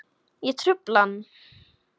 Ég trufla hann.